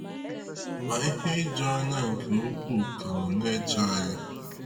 Ma ihe ijuanya nke ukwuu ka nọ n’eche anyị.